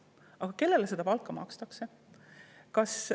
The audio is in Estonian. Aga kellele seda palka makstakse?